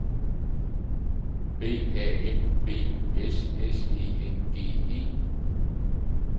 B A M B U S S E N G E